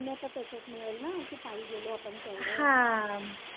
पुण्याचं surface मिळेल ना कि पायी गेलो आपण तेवढं